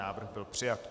Návrh byl přijat.